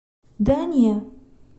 да не